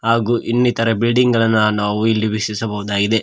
ಹಾಗು ಇನ್ನಿತರ ಬಿಲ್ಡಿಂಗ್ ಗಳು ನಾವು ಇಲ್ಲಿ ವೀಕ್ಷಿಸಬಹುದಾಗಿದೆ.